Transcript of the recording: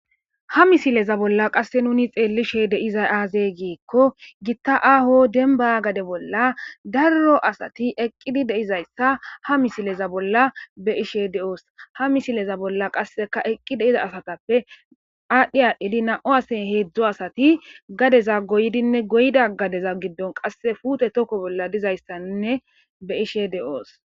ha misileza bolla qasse nuni xeellishe deizay aazey giikko gitta aho denba gade bolla darro asati eqqidi deizayssa ha misileza bolla be ishe de7oos ha misileza bolla qasseka eqqi deiza asatappe aadhdhi aadhdhidi na7o ase heedzdzo asati gadeza goydinne goyda gadeza giddon qasse fuute tokko bolla dizayssainne be ishe de7oos